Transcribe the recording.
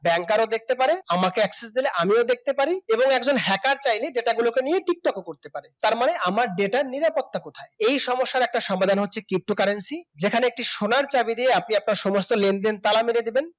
Banker ও দেখতে পারেন আমাকে Access দিলে আমিও দেখতে পারি এবারে একজন Hacker যেটা চাইলে Data গুলোকে নিয়ে Tik tok ও করতে পারে তার মানে আমার Data র নিরাপত্তা কোথায় এই সমস্যার একটা সমাধান হচ্ছে pto currency যেখানে একটি সোনার চাবি দিয়ে আপনি আপনার সমস্ত লেনদেন তালা মেরে দেবেন